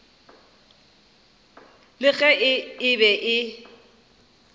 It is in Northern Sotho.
le ge e be e